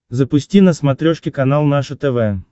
запусти на смотрешке канал наше тв